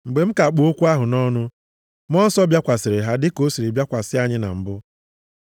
“Mgbe m ka kpụ okwu ahụ nʼọnụ, Mmụọ Nsọ bịakwasịrị ha dịka o siri bịakwasị anyị na mbụ.